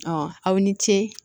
aw ni ce